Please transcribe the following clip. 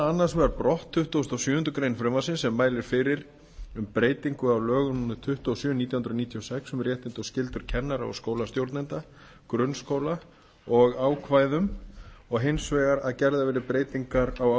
annars vegar brott tuttugasta og sjöundu greinar frumvarpsins sem mælir fyrir um breytingu á lögum númer tuttugu og sjö nítján hundruð níutíu og sex um réttindi og skyldur kennara og skólastjórnenda grunnskóla og ákvæðum og hins vegar að gerðar verði breytingar á